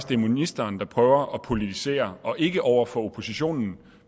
det er ministeren der prøver at politisere og ikke over for oppositionen